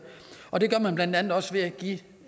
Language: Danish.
og det gør man blandt andet også ved at give